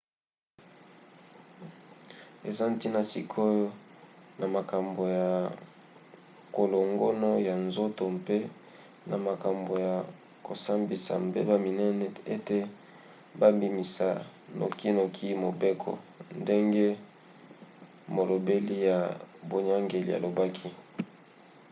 eza ntina sikoyo na makambo ya kolongono ya nzoto mpe na makambo ya kosambisa mbeba minene ete babimisa nokinoki mobeko ndenge molobeli ya boyangeli alobaki